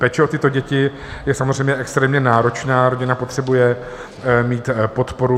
Péče o tyto děti je samozřejmě extrémně náročná, rodina potřebuje mít podporu.